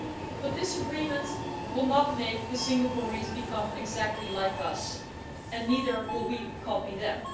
But this agreement will not make the Singaporeans become exactly like us and neither will we copy them.